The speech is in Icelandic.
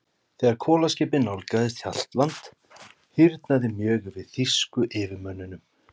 Þegar kolaskipið nálgaðist Hjaltland, hýrnaði mjög yfir þýsku yfirmönnunum.